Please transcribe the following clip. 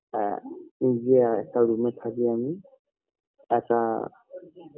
আ নিজে একা room থাকি আমি একা